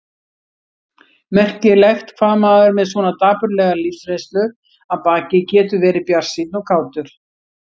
Merkilegt hvað maður með svona dapurlega lífsreynslu að baki getur verið bjartsýnn og kátur.